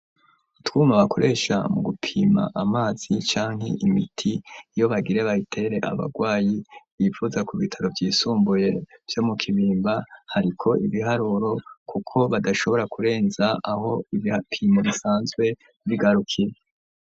Utwuma bakoresha, mu gupima amazi, canke imiti, iyo bagire bayitere, abagwayi, bivuza ku bitaro vyisumbuye, vyo mu Kibimba; hariko ibiharuro, kuko badashobora kurenza, aho ibipimo, bisanzwe bigarukira.